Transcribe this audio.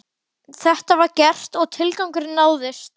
Þetta var gert og tilgangurinn náðist.